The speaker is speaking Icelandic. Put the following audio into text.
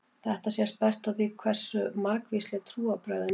Þetta sést best á því hversu margvísleg trúarbrögðin eru.